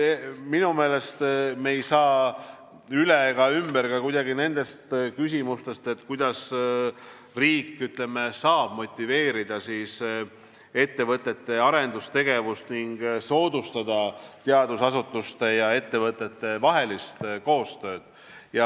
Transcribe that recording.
Minu meelest ei saa me üle ega ümber ka nendest küsimustest, kuidas riik saab motiveerida ettevõtete arendustegevust ning soodustada teadusasutuste ja ettevõtete koostööd.